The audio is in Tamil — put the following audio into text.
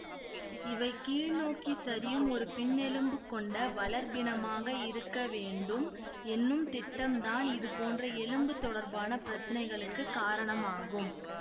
இவை கீழ் நோக்கி சரியும் ஒரு பின்னெலும்பு கொண்ட வளர்ப்பினமாக இருக்க வேண்டும் என்னும் திட்டம்தான் இது போன்ற எலும்பு தொடர்பான பிரச்சினைகளுக்குக் காரணமாகும்